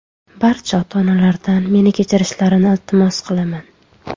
Barcha ota-onalardan meni kechirishlarini iltimos qilaman.